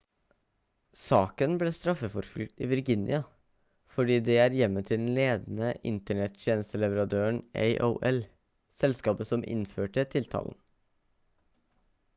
saken ble straffeforfulgt i virginia fordi det er hjemmet til den ledende internett-tjenesteleverandøren aol selskapet som innførte tiltalen